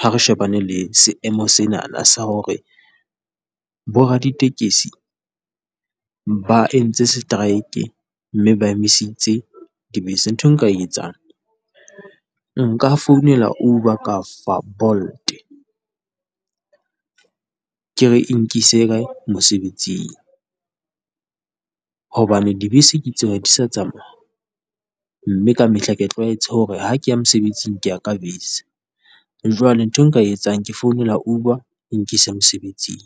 ha re shebane le seemo senana sa hore bo raditekesi ba entse seteraeke mme ba emisitse dibese. Nthwe nka e etsang, nka founela Uber ka fa Bolt. Ke re nkise kae? Mosebetsing hobane dibese Ke tseo di sa tsamaya, mme ka mehla ke tlwaetse hore ha ke ya mosebetsing ke ya ka bese. Jwale ntho e nka etsang Ke founela Uber e nkise mosebetsing.